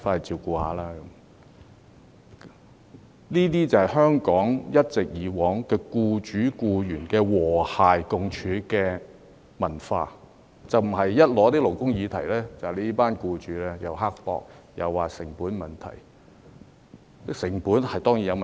這是香港以往一直以來，僱主與僱員的和諧共處的文化，而不是每當提出勞工議題，便說僱主必然是刻薄，又會推說成本問題。